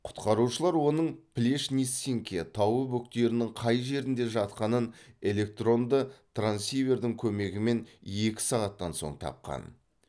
құтқарушылар оның плешниццинке тауы бөктерінің қай жерінде жатқанын электронды трансивердің көмегімен екі сағаттан соң тапқан